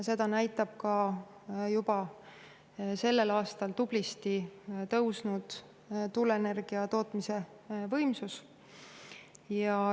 Seda näitab ka juba sellel aastal tublisti kasvanud tuuleenergia tootmise võimsus.